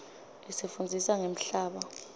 isifundzisa ngemhlaba